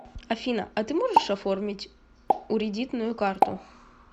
афина а ты можешь оформить уредитную карту